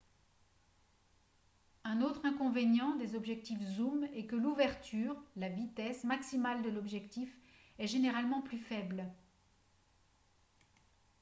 un autre inconvénient des objectifs zooms est que l’ouverture la vitesse maximale de l’objectif est généralement plus faible